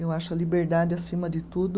Eu acho a liberdade, acima de tudo,